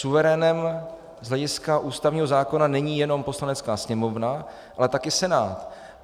Suverénem z hlediska ústavního zákona není jenom Poslanecká sněmovna, ale taky Senát.